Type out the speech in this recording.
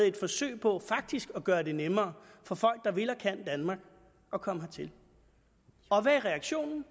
et forsøg på faktisk at gøre det nemmere for folk der vil og kan danmark at komme hertil og hvad er reaktionen